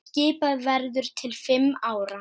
Skipað verður til fimm ára.